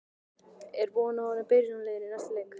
Er von á honum í byrjunarliðinu í næsta leik?